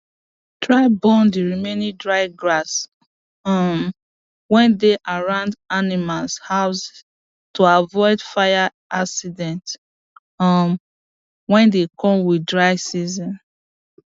try born d remaining dry grass um wey dey around animals house to avoid fire accident um wey dey come with dry season